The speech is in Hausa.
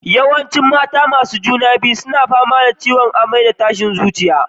Yawancin mata masu juna biyu suna fama da amai da tashin zuciya a farkon matakan ciki.